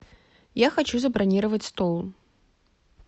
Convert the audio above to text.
я хочу забронировать стол